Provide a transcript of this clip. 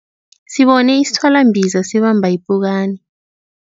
Sibone isithwalambiza sibamba ipukani.